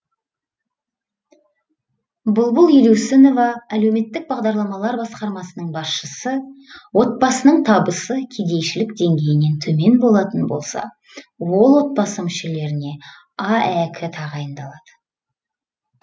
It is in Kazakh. бұлбұл елеусінова әлеуметтік бағдарламалар басқармасының басшысы отбасының табысы кедейшілік деңгейінен төмен болатын болса ол отбасы мүшелеріне аәк тағайындалады